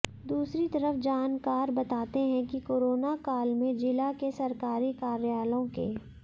दूसरी तरफ जानकार बताते हैं कि कोरोना काल में जिला के सरकारी कार्यालयों के